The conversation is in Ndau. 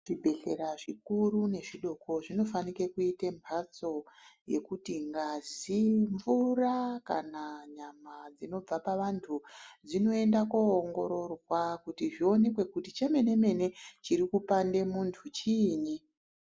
Zvibhedhlera zvikuru nezvidoko zvinofanike kuite mbatso yekuti ngazi, mvura kana nyama dzinobva pavantu dzinoenda koongororwa kuti chemene mene chiri kupande muntu chini.